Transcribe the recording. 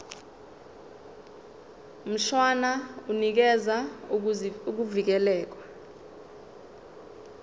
mshwana unikeza ukuvikelwa